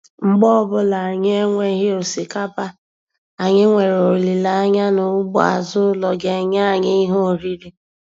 Mgbe ọbụla anyị enweghi Osikapa, anyị nwere olileanya na ugbo azụ ụlọ ga-enye anyị ihe oriri.